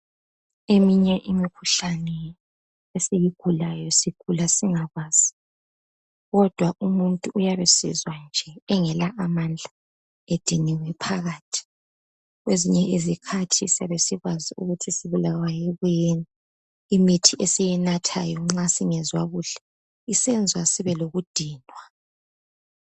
Eminye imikhuhlane esiyigulayo sigula singakwazi kodwa umuntu uyabe esizwa nje engela amandla ediniwe phakathi. Kwezinye izikhathi siyabe sikwazi ukuthi sibulawa yikuyini imuthi esiyinathayo nxa singezwa kuhle isenza sibe lokudinwa.